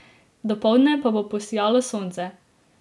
Dopoldne pa bo posijalo sonce.